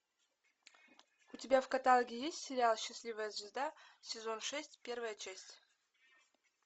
у тебя в каталоге есть сериал счастливая звезда сезон шесть первая часть